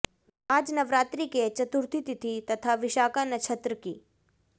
आज नवरात्रि के चतुर्थी तिथि तथा विशाखा नक्षत्र की